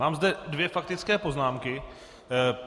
Mám zde dvě faktické poznámky.